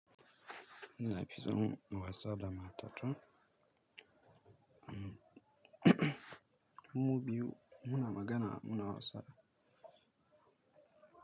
Nafi son in wasa da matata. Mmm mu biyu muna magana muna wasa.